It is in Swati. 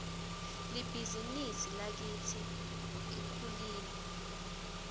libhizinisi lakitsi lkhulile